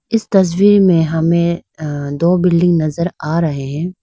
इस तस्वीर में हमें दो बिल्डिंग नजर आ रहे हैं।